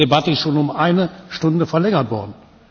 Diese Debatte ist schon um eine Stunde verlängert worden.